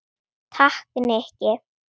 Takk, Nikki